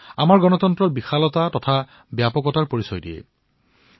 ই আমাৰ গণতন্ত্ৰৰ বিশালতা আৰু বিস্তৃতিৰ পৰিচয় কৰায়